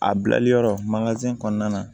A bilali yɔrɔ mankazɛn kɔnɔna na